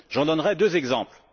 J'en donnerai deux exemples.